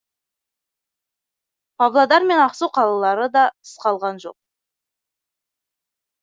павлодар мен ақсу қалалары да тыс қалған жоқ